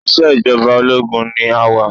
Ìṣejọba ológun ni a wà.